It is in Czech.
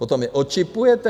Potom je očipujete?